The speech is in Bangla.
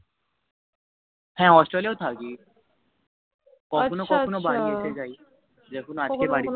হ্য়াঁ hostel ও থাকি আছা আছা কখনো কখনো বাড়ি এসে যায় যেমন আজ কে বাড়ি